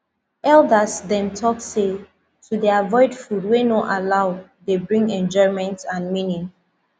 elders dem talk say to dey avoid food wey no allow dey bring enjoyment and meaning